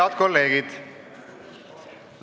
Head kolleegid!